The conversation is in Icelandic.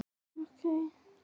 Stúlkan komin í leitirnar